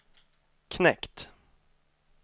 knekt